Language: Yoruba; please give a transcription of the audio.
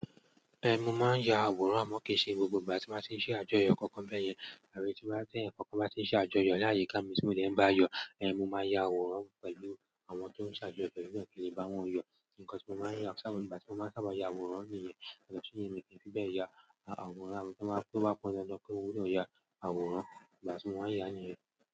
Ẹn, mo máa ń ya àwòrán àmọ́ kì í ṣe gbogbo ìgbà tí m bá ti ń ṣe àjọyọ̀ kankan bẹ́yẹn àbí tí bá teeyan kankan bá ti ń ṣe àjọyọ̀ ni àyíká mi ti mo de n bá yọ, ẹ́n mo máa ya àwòrán pẹ̀lú àwọn tó ń ṣàjọyọ̀ yen náà ki n le bá wọn yọ. Nǹkan tí mo maa n ya ti àwọn ìgbà ti mo máa ń sábà ya àwòrán nìyẹn, yàtọ̀ siyen mi kii fíbeẹ̀ ya àwòrán, àmọ́ tí wọ́n bá to ba pọn dandan pé mó gbọdọ̀ ya àwòrán, ìgbà tí mo máa ń yá nìyẹn.